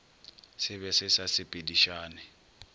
se be se sa sepedišane